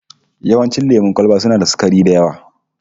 Yawancin lemon kwalba suna da sukari da yawa